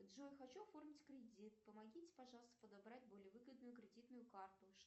джой хочу оформить кредит помогите пожалуйста подобрать более выгодную кредитную карту